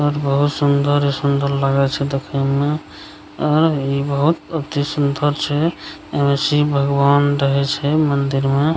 और बहुत सुन्दरे-सुन्दरे लगे छै देखे में आब इ बहुत अति सुन्दर छै ए मे शिव भगवान रहे छै मंदिर में।